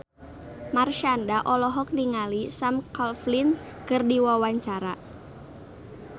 Marshanda olohok ningali Sam Claflin keur diwawancara